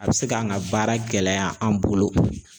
A bɛ se k'an ka baara gɛlɛya an bolo